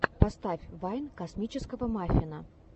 поставь вайн космического маффина